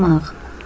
Dümağ.